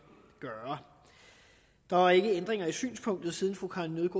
gøre der er ikke ændringer i synspunktet siden fru karin